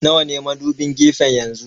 Nawa ne madubin gefen yanzu?